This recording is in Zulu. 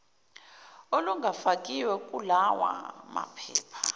olungafakiwe kulawa maphepha